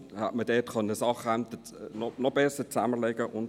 Hätte man Ämter noch besser zusammenlegen können?